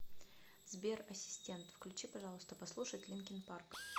сбер ассистент включи пожалуйста послушать линкин парк